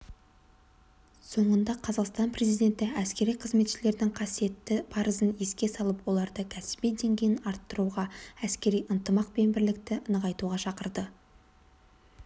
соңында қазақстан президенті әскери қызметшілердің қасиетті парызын еске салып оларды кәсіби деңгейін арттыруға әскери ынтымақ пен бірлікті нығайтуға шақырды